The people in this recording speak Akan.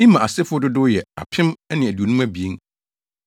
Imer asefo dodow yɛ 2 1,052 1